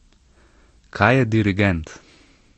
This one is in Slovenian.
Kaj je dirigent?